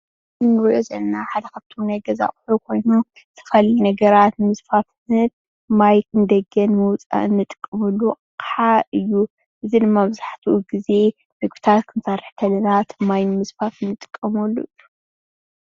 እዚ እንሪኦ ዘለና ሓደ ከፍቶም ናይ ገዛ ኣቅሓ ኾይኑ ዝተፈላለዩ ነገራት ንምፅፋፍ ማይ ንደገ ንምዉፃእን እንጥቀመሉ ኣቅሓ እዩ እዚ ድማ መብዛሕትኡ ግዜ ምግብታት ክንሰርሕ ከለና እቲ ማይ ንምፅፋፍ እንጥቀመሉ እዩ።